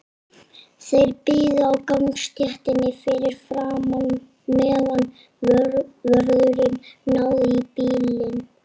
Þeir biðu á gangstéttinni fyrir framan, meðan vörðurinn náði í bílinn.